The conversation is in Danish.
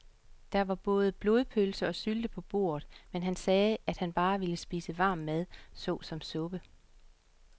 Der var både blodpølse og sylte på bordet, men han sagde, at han bare ville spise varm mad såsom suppe.